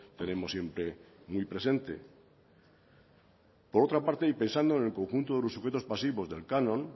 tenemos siempre muy presente por otra parte y pensando en el conjunto de los sujetos pasivos del canon